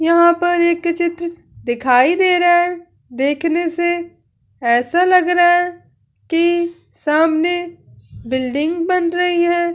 यहां पर एक चित्र दिखाई दे रहा है। देखने से ऐसा लग रहा है कि सामने बिल्डिंग बन रही है।